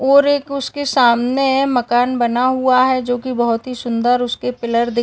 और एक उसके सामने मकान बना हुआ है जोकि बहुत ही सुन्दर उसके पीलर दिख --